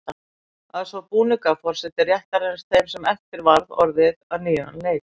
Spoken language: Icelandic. Að svo búnu gaf forseti réttarins þeim sem eftir varð orðið á nýjan leik.